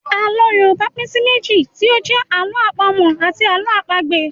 Àlọ́ Yorùbá pín sí méjì tí ó jẹ́ Àlọ́ àpamọ̀ àti Àlọ́ àpagbè